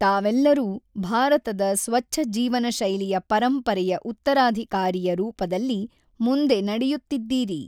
ತಾವೆಲ್ಲರೂ ಭಾರತದ ಸ್ವಚ್ಛಜೀವನ ಶೈಲಿಯ ಪರಂಪರೆಯ ಉತ್ತರಾಧಿಕಾರಿಯ ರೂಪದಲ್ಲಿ ಮುಂದೆ ನಡೆಯುತ್ತಿದ್ದೀರಿ.